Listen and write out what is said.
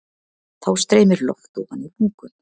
Þá streymir loft ofan í lungun.